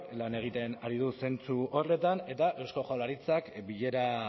lan egiten ari da zentzu horretan eta eusko jaurlaritzak bilera